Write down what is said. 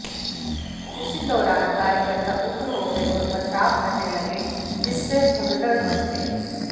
उसी दौरान कार्यकर्ता उग्र हो गए और पथराव करने लगे जिससे भगदड़ मच गई